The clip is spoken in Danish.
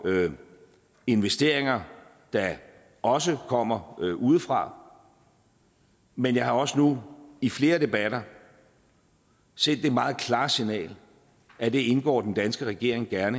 investeringer der også kommer udefra men jeg har også nu i flere debatter sendt det meget klare signal at det indgår den danske regering gerne